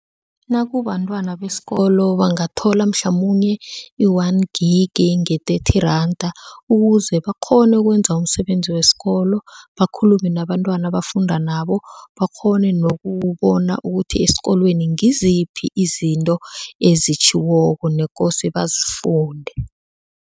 Nakubentwana besikolo bangathola mhlamunye i-one gig nge-thirty randa ukuze bakghone ukwenza umsebenzi wesikolo, bakhulume nabantwana abafunda nabo, bakghone nokubona ukuthi esikolweni ngiziphi izinto ezitjhiwoko nekose bazifunde.